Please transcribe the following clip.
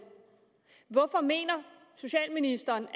hvorfor mener socialministeren